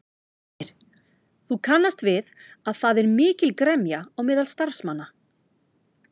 Heimir: Þú kannast við að það er mikil gremja á meðal starfsmanna?